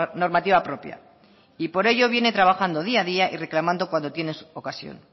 normativa propia y por ello viene trabajando día a día y reclamando cuando tiene ocasión